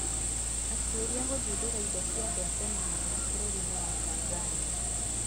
Atuĩria gũthundũra indo cia andũ a tene mũno bũrũri-inĩ wa Tanzania